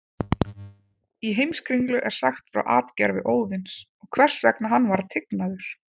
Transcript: Í Heimskringlu er sagt frá atgervi Óðins og hvers vegna hann var tignaður.